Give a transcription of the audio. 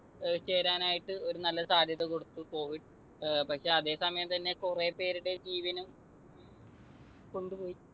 ചേരാനായിട്ട് ഒരു നല്ല സാധ്യത കൊടുത്തു covid. പക്ഷെ അതെ സമയം തന്നെ കുറെ പേരുടെ ജീവനും കൊണ്ടുപോയി.